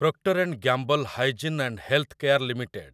proctor and Gamble hygiene and health care limited